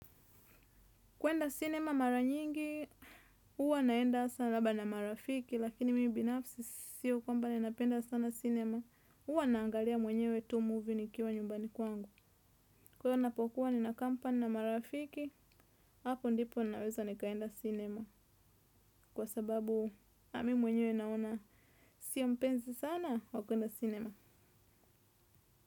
Kwenda cinema mara nyingi, huwa naenda sana labda na marafiki, lakini mimi binafsi siyo kwamba ninapenda sana cinema. Huwa naangalia mwenyewe tu movie nikiwa nyumbani kwangu. Kwa hiyo ninapokuwa nina kampani na marafiki, hapo ndipo naweza nikaenda cinema. Kwa sababu nami mwenyewe naona siyo mpenzi sana wa kueda cinema.